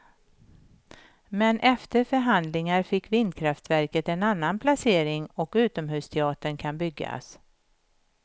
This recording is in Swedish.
Men efter förhandlingar fick vindkraftverket en annan placering och utomhusteatern kan byggas.